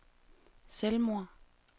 selvmord